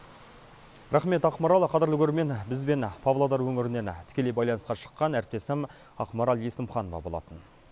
рақмет ақмарал қадірлі көрермен бізбен павлодар өңірінен тікелей байланысқа шыққан әріптесім ақмарал есімханова болатын